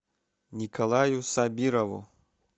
николаю сабирову